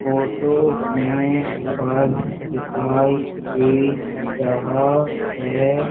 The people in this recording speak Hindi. फोटो में पर्स दिखाई दे रहा है।